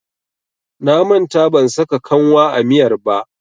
Na manta ban saka kanwa a miyar ba.